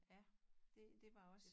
Ja det det var også